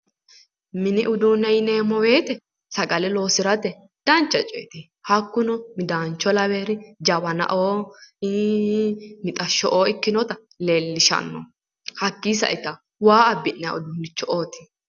Mini uduunne yineemmo woyte sagale loosirate dancha coyeeti, hakkuno midaancho laweewori jawanao, mixasho'o ikkinori leellishshanno hattono, hakkii sa'ita waa abbi'nanni uduunnicho'oti